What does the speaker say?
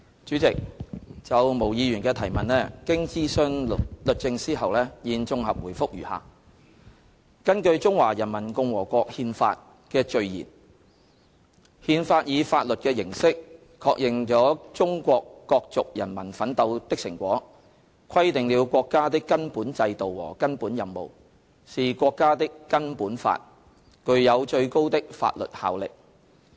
主席，就毛議員的質詢，經徵詢律政司後，現綜合答覆如下：根據《中華人民共和國憲法》的序言，"憲法以法律的形式確認了中國各族人民奮鬥的成果，規定了國家的根本制度和根本任務，是國家的根本法，具有最高的法律效力。